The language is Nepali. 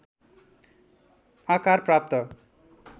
आकार प्राप्त